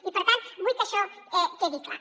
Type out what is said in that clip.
i per tant vull que això quedi clar